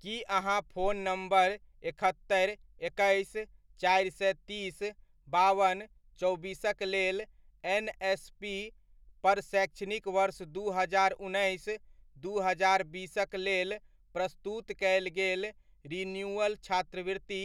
की अहाँ phone number एकहत्तरि, एकैस, चारि सए तीस, बावन, चौबीसक लेल एनएसपी पर शैक्षणिक वर्ष दू हजार उन्नैस, दू हजार बीसक लेल प्रस्तुत कयल गेल रिन्यूअल छात्रवृति